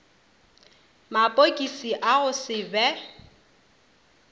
mapokisi a go se be